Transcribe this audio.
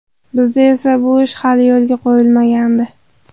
Bizda esa bu ish hali yo‘lga qo‘yilmagandi.